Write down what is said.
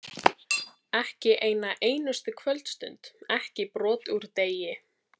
Ekki eina einustu kvöldstund, ekki brot úr degi.